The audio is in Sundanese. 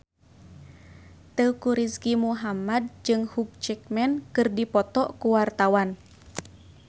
Teuku Rizky Muhammad jeung Hugh Jackman keur dipoto ku wartawan